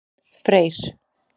Freyr